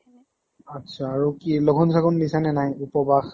আত্ছা আৰু কি? লঘুন চঘুন দিছা নে নাই? উপ্বাস।